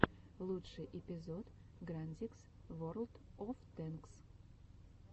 лучший эпизод грандикс ворлд оф тэнкс